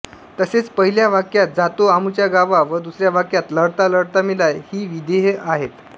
तसेच पहिल्या वाक्यात जातो आमुच्या गावा व दुसऱ्या वाक्यात लढता लढता मेला ही विधेये आहेत